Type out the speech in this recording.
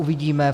Uvidíme.